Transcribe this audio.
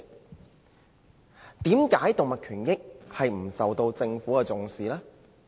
為甚麼動物權益沒有受到政府的重視？